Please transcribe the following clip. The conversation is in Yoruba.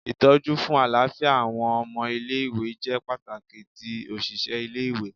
Itọju fun alafia awọn ọmọ ile-iwe jẹ pataki ti oṣiṣẹ ile-iwe